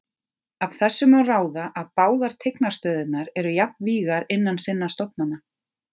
Af þessu má ráða að báðar tignarstöðurnar eru jafnvígar innan sinna stofnana.